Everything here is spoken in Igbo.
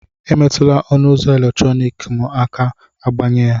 Emetụla ọnụ ụzọ eletrọnịkị aka ma agbanye ya